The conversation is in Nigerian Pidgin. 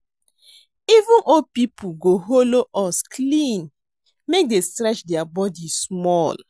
Even old people go hollow us clean make dey stretch their body small